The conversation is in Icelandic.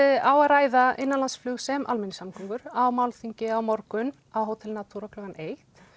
á að ræða innanlandsflug sem almenningssamgöngur á málþingi á morgun á Hótel Natura klukkan eitt